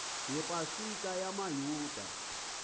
yepa sika yamayuda